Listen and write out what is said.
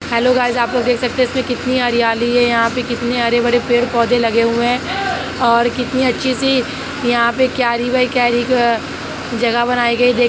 Hello guys आप लोग देख सकते हैं इसमें कितनी हरियाली हैं यहाँ पे कितनी हरी भरी पेड़-पोधे लगे हुए हैं और कितनी अच्छी सी यहाँ पे क्यारी बाय क्यारी जगह बनायी गयी है।